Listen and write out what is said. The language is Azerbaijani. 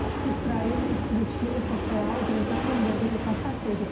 İsrail İsveçli ekofəal Qreta Tunberqi deportasiya edib.